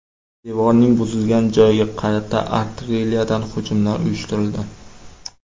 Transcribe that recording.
Devorning buzilgan joyiga qarata artilleriyadan hujumlar uyushtirildi.